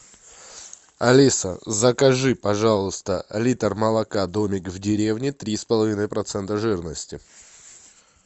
алиса закажи пожалуйста литр молока домик в деревне три с половиной процента жирности